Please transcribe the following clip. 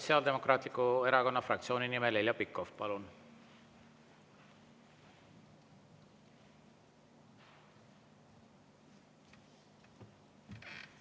Sotsiaaldemokraatliku Erakonna fraktsiooni nimel Heljo Pikhof, palun!